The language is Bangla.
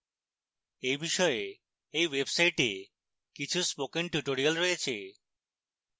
এই বিষয়ে এই website কিছু spoken tutorials রয়েছে